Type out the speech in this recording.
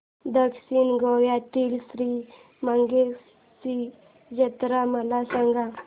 दक्षिण गोव्यातील श्री मंगेशाची जत्रा मला सांग